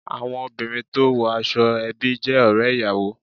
Àwọn obìnrin tó wo aṣọ ẹbí jé òré ìyàwó